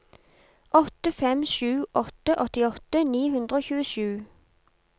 åtte fem sju åtte åttiåtte ni hundre og tjuesju